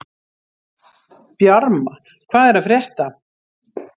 Bjarma, hvað er að frétta?